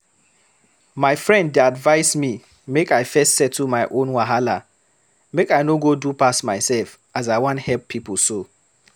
My friend dey advise me make I first settle my own wahala, make I no go do pass myself as I wan help pipo so.